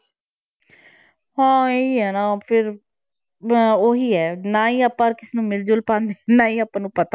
ਹਾਂ ਇਹ ਹੀ ਹੈ ਨਾ ਫਿਰ ਅਹ ਉਹੀ ਹੈ ਨਾ ਹੀ ਆਪਾਂ ਕਿਸੇ ਨੂੰ ਮਿਲ-ਜੁਲ ਪਾਉਂਦੇ ਹਾਂ ਨਾ ਹੀ ਆਪਾਂ ਨੂੰ